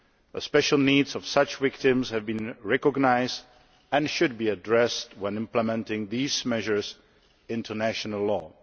The special needs of such victims have been recognised and should be addressed when implementing these measures into national law.